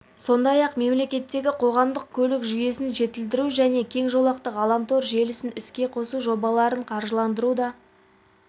сондай-ақ мемлекеттегі қоғамдық көлік жүйесін жетілдіру және кең жолақты ғаламтор желісін іске қосу жобаларын қаржыландыру да